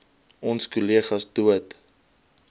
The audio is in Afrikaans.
onse kollegas dood